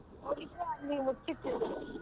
ಹೋಗಿದ್ರೆ ಅಲ್ಲಿ ಮುಚ್ಚಿತ್ತು .